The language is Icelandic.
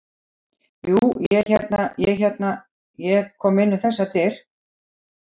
Jú, ég hérna. ég er hérna. ég kom inn um þessar dyr.